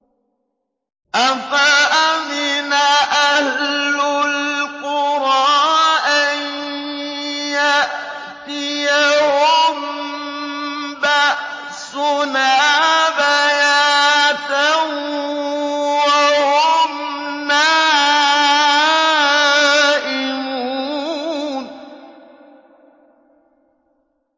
أَفَأَمِنَ أَهْلُ الْقُرَىٰ أَن يَأْتِيَهُم بَأْسُنَا بَيَاتًا وَهُمْ نَائِمُونَ